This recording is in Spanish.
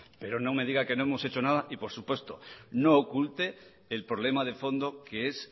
pero no me diga que no hemos hecho nada y por supuesto no oculte el problema de fondo que es